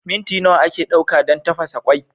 Minti nawa ake ɗauka don tafasa kwai?